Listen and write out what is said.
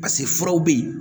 pase furaw be yen